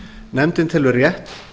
nefndin telur rétt